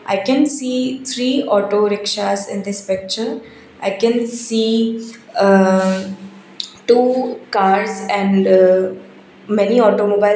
i can see three auto rickshaws in this picture i can see uh two cars and uh many automobile.